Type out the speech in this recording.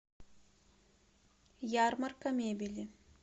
ярмарка мебели